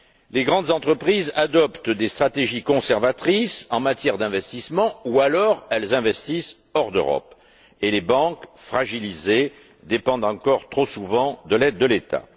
Les grandes entreprises adoptent des stratégies conservatrices en matière d'investissement ou, alors, elles investissent hors d'Europe et les banques fragilisées dépendent encore trop souvent de l'aide de l'État.